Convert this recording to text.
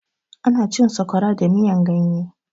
Ana cin sakwara da miyan ganye